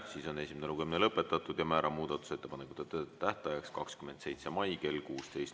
Siis on esimene lugemine lõpetatud ja määran muudatusettepanekute tähtajaks 27. mai kell 16.